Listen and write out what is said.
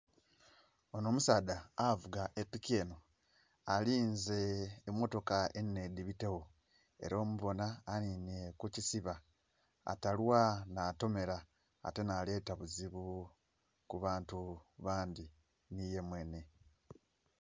Onho omusaadha avuga epiki enho, alinze emmotoka enhenhe dhibitegho, ela omubona anhinhye ku kisiba, atalwa natomera ate naleeta buzibu ku bantu bandhi, nhi ye mwenhe.